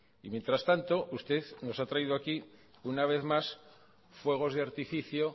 y mientras tanto usted nos ha traído aquí una vez más fuegos de artificio